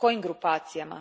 Kojim grupacijama?